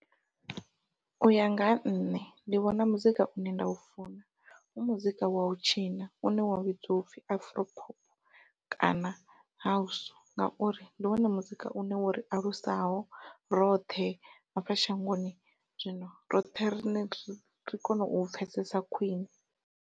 Uya nga ha nṋe ndi vhona muzika une nda u funa u muzika wau tshina une wa vhidzwa upfhi afro pop, kana house ngauri ndi wone muzika une wo ri alusaho roṱhe hafha shangoni zwino roṱhe ri ri kone u pfhesesa khwiṋe.